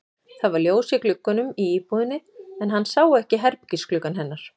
Það var ljós í gluggunum í íbúðinni en hann sá ekki herbergisgluggann hennar.